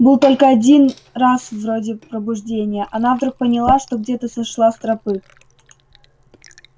было только один раз вроде пробуждения она вдруг поняла что где-то сошла с тропы